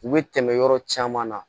U bɛ tɛmɛ yɔrɔ caman na